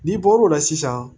N'i bɔr'o la sisan